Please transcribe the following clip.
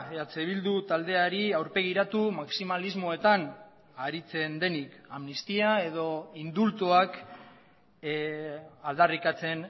eh bildu taldeari aurpegiratu maximalismoetan aritzen denik amnistia edo indultuak aldarrikatzen